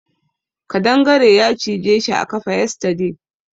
Kadangare ya cije shi a kafa yesterday.